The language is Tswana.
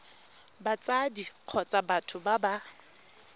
batsadi kgotsa batho ba ba